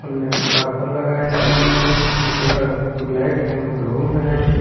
में कभर लगाए हुए हैं इनके कलर ब्लैक एंड ब्लू है।